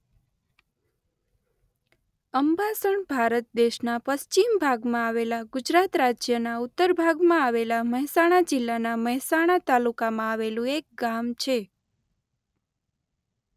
અંબાસણ ભારત દેશના પશ્ચિમ ભાગમાં આવેલા ગુજરાત રાજ્યના ઉત્તર ભાગમાં આવેલા મહેસાણા જિલ્લાના મહેસાણા તાલુકામાં આવેલું એક ગામ છે.